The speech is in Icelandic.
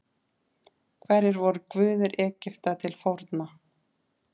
Hverjir voru guðir Egypta til forna?